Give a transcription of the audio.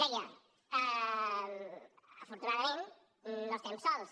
deia afortunadament no estem sols